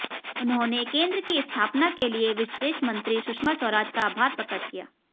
उन्होंने केंद्र की स्थापना के लिए विदेश मंत्री सुषमा स्वराज का आभार प्रकट किया